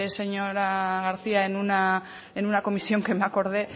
señora garcía en una comisión que me acordé